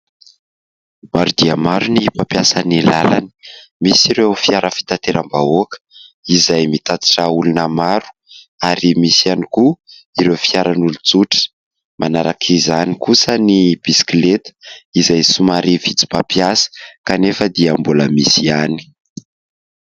Maro dia maro ny mampiasa ny làlana misy ireo fiara fitateram-bahoaka izay mitatitra olona maro ary misy ihany koa ireo fiaran'olon-tsotra, manaraka izany kosa ny bisikileta izay somary vitsy mpampiasa kanefa dia mbola misy ihany.